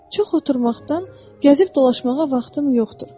Çox oturmaqdan gəzib dolaşmağa vaxtım yoxdur.